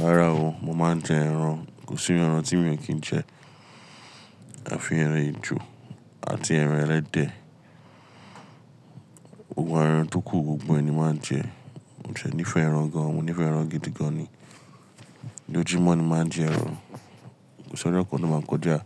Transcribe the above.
Rárá o, mo máa ń jẹ ẹran, kò sí ẹran tí mi ò kí ń jẹ. Àfi ẹran ejò àti ẹran ẹlẹ́dẹ̀. Gbogbo àwọn ẹran tókù gbogbo ẹni máa ń jẹ. Mo ṣẹ nífẹ̀ẹ́ ẹran gan, mo nífẹ̀ẹ́ ẹran gidi gan ni. Lójúmọ́ ni mo máa ń jẹ ẹran. Kò sí ọjọ́ kan tó máa kọjá